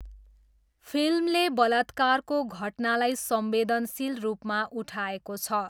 फिल्मले बलात्कारको घटनालाई संवेदनशील रूपमा उठाएको छ।